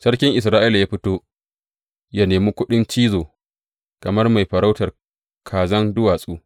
Sarkin Isra’ila ya fito yă nemi kuɗin cizo kamar mai farautar kazan duwatsu.